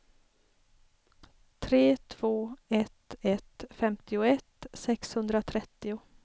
tre två ett ett femtioett sexhundratrettio